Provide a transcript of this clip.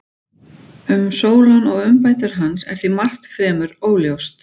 Um Sólon og umbætur hans er því margt fremur óljóst.